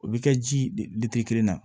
O bɛ kɛ ji de kelen na